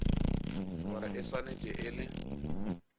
gore e swanetše e le